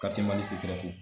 Karitiyemali CSREF